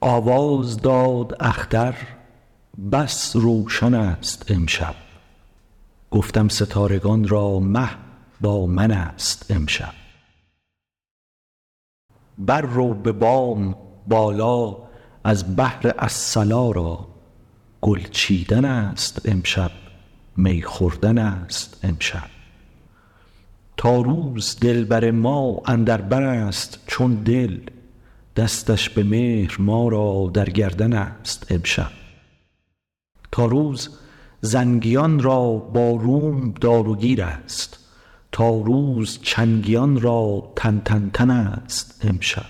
آواز داد اختر بس روشن ست امشب گفتم ستارگان را مه با منست امشب بررو به بام بالا از بهر الصلا را گل چیدن ست امشب می خوردن ست امشب تا روز دلبر ما اندر برست چون دل دستش به مهر ما را در گردن ست امشب تا روز زنگیان را با روم دار و گیرست تا روز چنگیان را تن تن تن ست امشب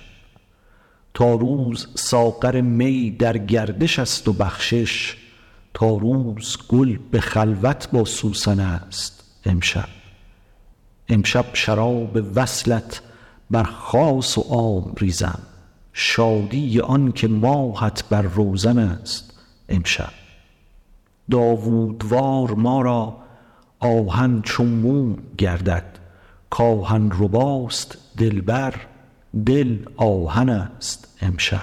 تا روز ساغر می در گردش است و بخشش تا روز گل به خلوت با سوسن ست امشب امشب شراب وصلت بر خاص و عام ریزم شادی آنکه ماهت بر روزن ست امشب داوود وار ما را آهن چو موم گردد که آهن رباست دلبر دل آهن ست امشب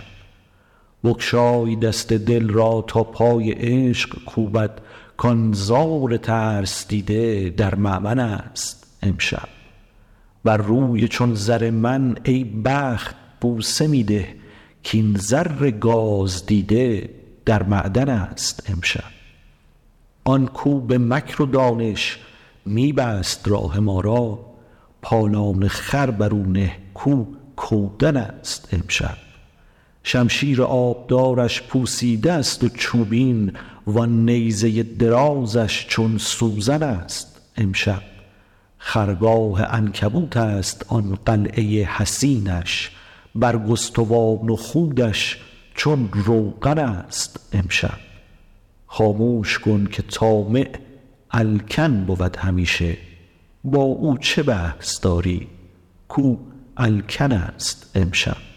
بگشای دست دل را تا پای عشق کوبد کان زار ترس دیده در مأمن ست امشب بر روی چون زر من ای بخت بوسه می ده کاین زر گاز دیده در معدن ست امشب آن کاو به مکر و دانش می بست راه ما را پالان خر بر او نه کاو کودن ست امشب شمشیر آبدارش پوسیده است و چوبین وآن نیزه درازش چون سوزن ست امشب خرگاه عنکبوت است آن قلعه حصینش برگستوان و خودش چون روغن ست امشب خاموش کن که طامع الکن بود همیشه با او چه بحث داری کاو الکن ست امشب